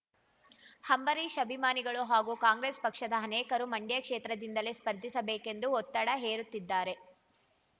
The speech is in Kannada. ಅಂಬರೀಶ್ ಅಭಿಮಾನಿಗಳು ಹಾಗೂ ಕಾಂಗ್ರೆಸ್ ಪಕ್ಷದ ಅನೇಕರು ಮಂಡ್ಯ ಕ್ಷೇತ್ರದಿಂದಲೇ ಸ್ಪರ್ಧಿಸಬೇಕೆಂದು ಒತ್ತಡ ಹೇರುತ್ತಿದ್ದಾರೆ